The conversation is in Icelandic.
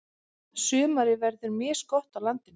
Sumarið verður misgott á landinu.